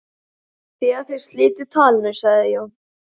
Þegar þeir slitu talinu sagði Jón